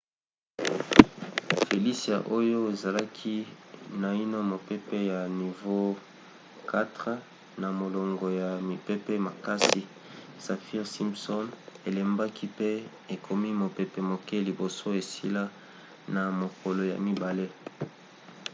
felicia oyo ezalaki naino mopepe ya nivo 4 na molongo ya mipepe makasi saffir-simpson elembaki pe ekomi mopepe moke liboso esila na mokolo ya mibale